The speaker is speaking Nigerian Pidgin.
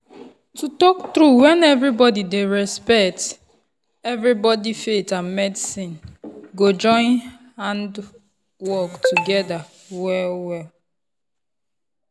to tok true when everybody dey respect everybody faith and medicine go join hand work together well-well.